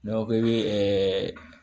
N'an ko k'i bɛ